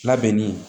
Labɛnni